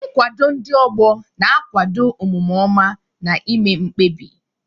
Nkwado ndị ọgbọ na-akwado omume ọma na ime mkpebi.